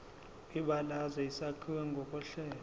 kwibalazwe isakhiwo ngokohlelo